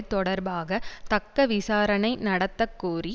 தொடர்பாக தக்க விசாரணை நடத்த கோரி